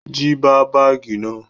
Jí bá báágì náà!